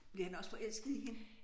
Blev han også forelsket i hende?